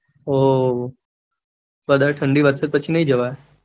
ઓ વધારે ઠંડી વધશે તો નઈ જવાઈ